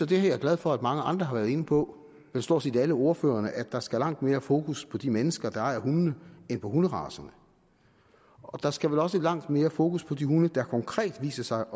det er jeg glad for mange andre har været inde på stort set alle ordførerne at der skal langt mere fokus på de mennesker der ejer hundene end på hunderacerne der skal vel også langt mere fokus på de hunde der konkret viser sig